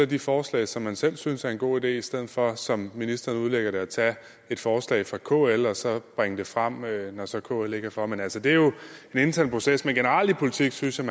de forslag som man selv synes er en god idé i stedet for som ministeren udlægger det at tage et forslag fra kl og så bringe det frem når så kl ikke er for men altså det er jo den interne proces men generelt i politik synes jeg